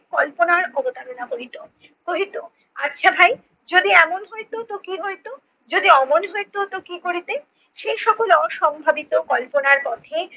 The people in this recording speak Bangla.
কল্পনার অবতারণা করিত। কহিত আচ্ছা ভাই যদি এমন হইত তো কি হইত? যদি অমন হইত তো কি করিতে? সে সকল অসম্ভাবিত কল্পনার পথে